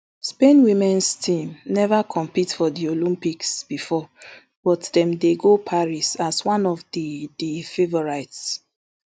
spain womens team neva compete for di olympics bifor but dem dey go paris as one of di di favourites